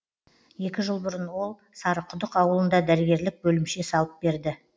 екі жыл бұрын ол сарықұдық ауылында дәрігерлік бөлімше салып берді